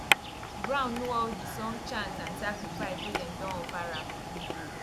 ground know all d song chant and sacrifice wey dem don offer am